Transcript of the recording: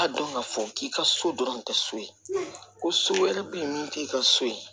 K'a dɔn k'a fɔ k'i ka so dɔrɔn tɛ so ye ko so wɛrɛ be yen min t'i ka so ye